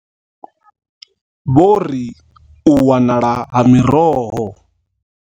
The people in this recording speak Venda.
Vho ri u wanala ha miroho.